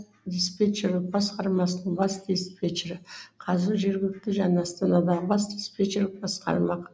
диспетчерлік басқармасының бас диспетчері қазір жергілікті және астанадағы бас диспечерлік басқармақ